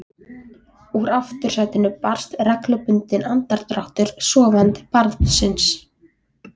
Úr aftursætinu barst reglubundinn andardráttur sofandi barns.